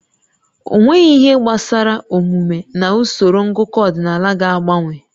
Ọnweghị ihe gbasara omume na usoro ngụkọ ọdịnala ga-agbanwe